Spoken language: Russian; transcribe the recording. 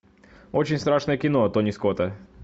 очень страшное кино тони скотта